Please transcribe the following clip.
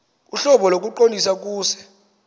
ohlobo lokuqondisa kuse